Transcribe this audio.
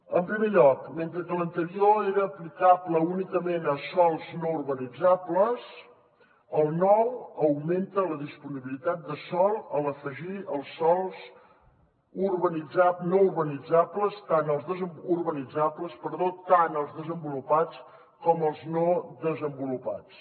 en primer lloc mentre que l’anterior era aplicable únicament a sòls no urbanitzables el nou augmenta la disponibilitat de sòl a l’afegir els sòls urbanitzables tant els desenvolupats com els no desenvolupats